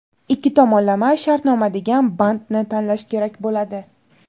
ikki tomonlama shartnoma degan bandni tanlash kerak bo‘ladi.